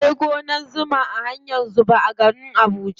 Akwai gonar zuma a hanyar zuba a garin abuja.